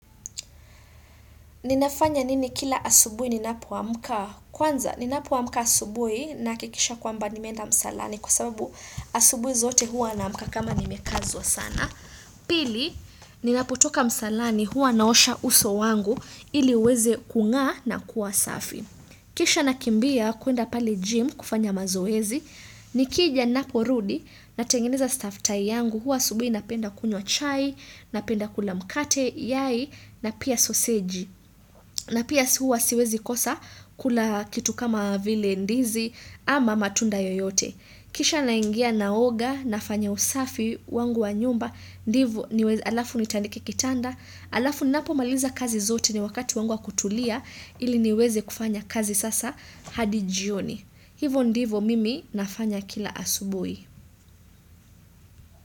Ninafanya nini kila asubuhi ninapoamuka? Kwanza, ninapo amuka asubuhi nina hakikisha kwamba nimeenda msalani kwa sababu asubuhi zote huwa na amuka kama nimekazwa sana. Pili, ninapotoka msalani huwa naosha uso wangu ili uweze kung'aa na kuwa safi. Kisha nakimbia kuenda pale gym kufanya mazoezi. Nikija ninaporudi na tengeneza stuff tai yangu huwa asubuhi napenda kunywa chai, napenda kula mkate yayi na pia sosiji. Na pia huwa siwezi kosa kula kitu kama vile ndizi ama matunda yoyote. Kisha naingia naoga, nafanya usafi, wangu wa nyumba, ndivyo niweze alafu nitandike kitanda, alafu ninapo maliza kazi zote ni wakati wangu wa kutulia ili niweze kufanya kazi sasa hadi jioni. Hivyo ndivyo mimi nafanya kila asubuhi.